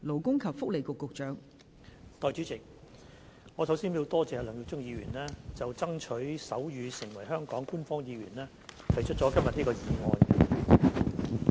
代理主席，首先，我感謝梁耀忠議員就"爭取手語成為香港官方語言"提出今天這項議案。